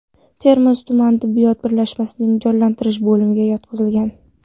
Termiz tuman tibbiyot birlashmasining jonlantirish bo‘limiga yotqizilgan.